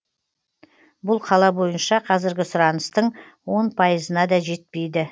бұл қала бойынша қазіргі сұраныстың он пайызына да жетпейді